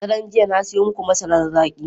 Daren jiya na siyo muku masarar zaki.